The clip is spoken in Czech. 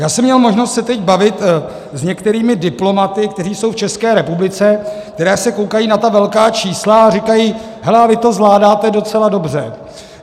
Já jsem měl možnost se teď bavit s některými diplomaty, kteří jsou v České republice, kteří se koukají na ta velká čísla a říkají: Hele a vy to zvládáte docela dobře.